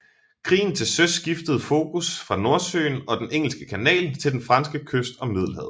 Krigen til søs skiftede fokus fra Nordsøen og den Engelske Kanal til den franske kyst og Middelhavet